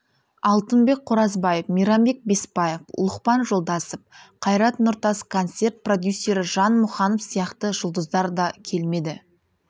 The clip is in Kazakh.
алтынбек қоразбаев мейрамбек бесбаев лұқпан жолдасов қайрат нұртас концерт продюсері жан мұқанов сияқты жұлдыздар да келмеді